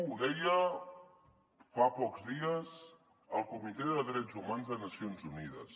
ho deia fa pocs dies el comitè de drets humans de nacions unides